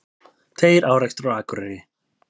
Tveir árekstrar á Akureyri